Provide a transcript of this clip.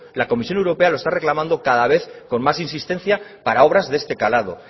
la comisión europea lo está reclamando cada vez con más insistencia para obras de este calado